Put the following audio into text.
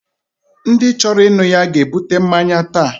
Ndi choro innu ya ga ebute mmanya ta